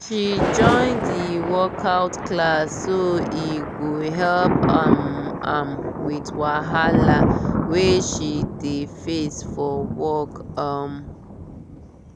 she join di workout class so e go help um am with wahala wey she dey face for work um